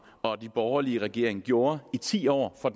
og den borgerlige regering gjorde i ti år for